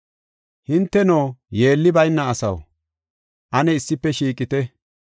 Hinteno, yeelli bayna asaw, ane issife shiiqite!